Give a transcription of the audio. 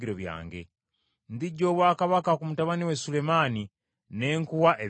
Ndiggya obwakabaka ku mutabani wa Sulemaani, ne nkuwa ebika kkumi.